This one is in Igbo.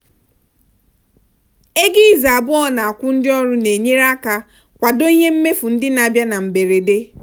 ego izu abụọ a na-akwụ ndị ọrụ na-enyere aka kwado ihe mmefu ndị na-abịa na mberede.